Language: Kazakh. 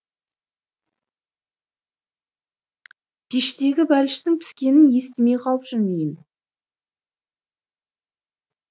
пештегі бәліштің піскенін естімей қалып жүрмейін